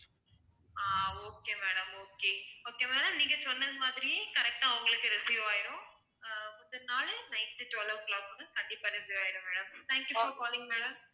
ஆஹ் okay madam okay okay madam நீங்க சொன்னது மாதிரியே correct ஆ உங்களுக்கு receive ஆயிடும் ஆஹ் முந்தன நாளு night twelve o'clock க்கு உள்ள கண்டிப்பா receive ஆயிடும் madam thank you for calling madam